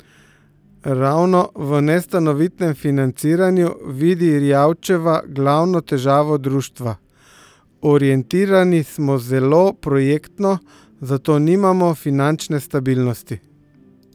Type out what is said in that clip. Ravno v nestanovitnem financiranju vidi Rijavčeva glavno težavo društva: "Orientirani smo zelo projektno, zato nimamo finančne stabilnosti.